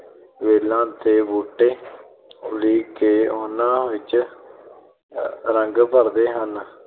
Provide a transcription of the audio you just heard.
ਵੇਲਾਂ ਤੇ ਬੂਟੇ ਉਲੀਕ ਕੇ ਉਹਨਾਂ ਵਿੱਚ ਅਹ ਰੰਗ ਭਰਦੇ ਹਨ